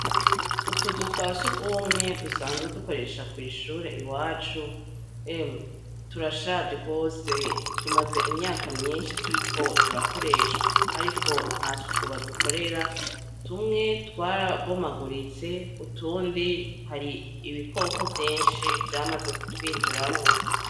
Utuzu twa surwumwe dusanzwe dukoresha kw'ishure iwacu, emwe turashaje gose, tumaze imyaka myinshi turiko turakoreshwa. Ariko nta suku badukorera, tumwe twarabomaguritse, utundi hari ibikoko vyinshi vyamaze kutwinjiramwo.